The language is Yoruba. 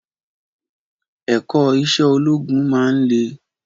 Ẹ̀kọ́ Iṣẹ́ ológun máa ń le